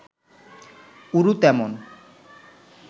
উরু তেমন